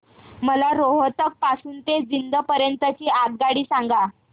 मला रोहतक पासून तर जिंद पर्यंत ची आगगाडी सांगा